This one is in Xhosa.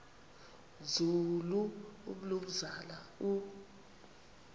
nzulu umnumzana u